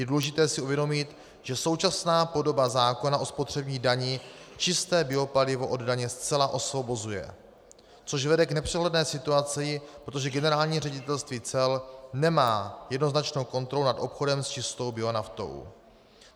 Je důležité si uvědomit, že současná podoba zákona o spotřební dani čisté palivo od daně zcela osvobozuje, což vede k nepřehledné situaci, protože Generální ředitelství cel nemá jednoznačnou kontrolu nad obchodem s čistou bionaftou.